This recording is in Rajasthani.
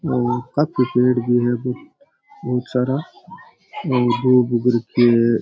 और काफी पेड़ भी है बहुत सारा और गोभी उग रखी है।